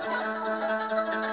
að